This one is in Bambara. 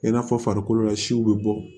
I n'a fɔ farikolo la siw bɛ bɔ